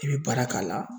I bɛ baara k'a la